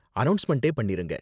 அநௌஸ்மெண்ட்டே பண்ணிருங்க.